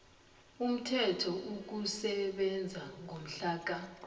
uthome ukusebenza ngomhlaka